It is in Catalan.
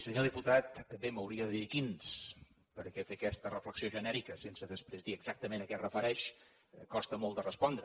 senyor diputat bé m’hauria de dir quins perquè fer aquesta reflexió genèrica sense després dir exactament a què es refereix costa molt de respondre